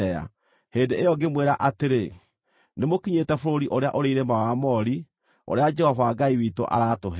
Hĩndĩ ĩyo ngĩmwĩra atĩrĩ, “Nĩmũkinyĩte bũrũri ũrĩa ũrĩ irĩma wa Aamori, ũrĩa Jehova Ngai witũ aratũhe.